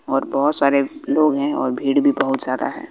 और बहोत सारे लोग है और भीड़ भी बहुत ज्यादा है।